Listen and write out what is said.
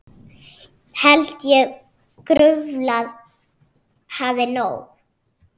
Held ég gruflað hafi nóg.